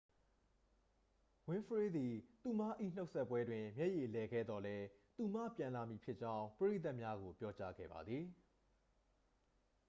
ဝင်းဖရေးသည် သူမ၏နှုတ်ဆက်ပွဲတွင် မျက်ရည်လည်ခဲ့သော်လည်း သူမပြန်လာမည်ဖြစ်ကြောင်း ပရိသတ်များကို ပြောကြားခဲ့ပါသည်